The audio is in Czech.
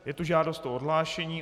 Je tu žádost o odhlášení.